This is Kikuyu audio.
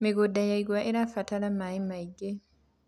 mĩgũnda ya igwa irabatara maĩ maĩngi